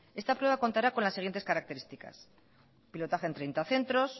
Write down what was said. esta prueba contará con las siguientes características pilotaje en treinta centros